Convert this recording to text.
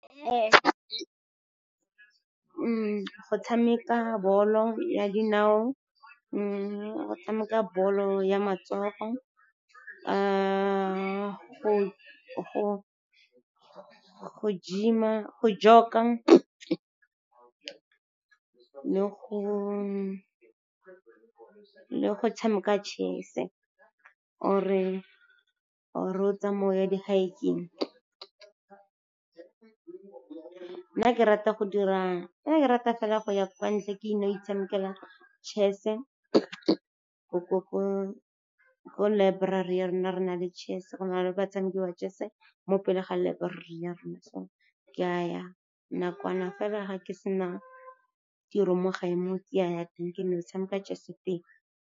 Go tshameka bolo ya dinao, go tshameka bolo ya matsogo, go gym-a, go jog-ka le go tshameka chess-e or-e o tsamaye o ye di-hike-eng. Nna ke rata fela go ya kwa ntle, ke no itshamekela chess-e, ko library ya rona re na le chess-e, go na le batshameki wa chess-e mo pele ga laeborari ya rona. So, ke a ya nakwana fela ga ke sena tiro mo gae mo, ke a ya teng, ke no ke tshameka chess-e teng.